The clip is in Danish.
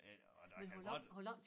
Det og der kan godt